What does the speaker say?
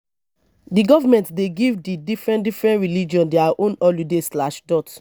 di government dey give di diferen diferen religion their own holiday.